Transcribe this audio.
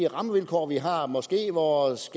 rammevilkår vi har måske vores